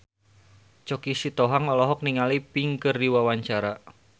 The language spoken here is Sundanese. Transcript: Choky Sitohang olohok ningali Pink keur diwawancara